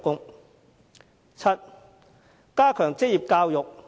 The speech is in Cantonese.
第七，加強職業教育。